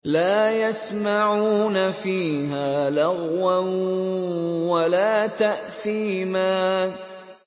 لَا يَسْمَعُونَ فِيهَا لَغْوًا وَلَا تَأْثِيمًا